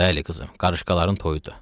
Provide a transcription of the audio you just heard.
Bəli qızım, qarışqaların toyudur.